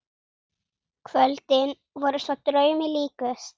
Kvöldin voru svo draumi líkust.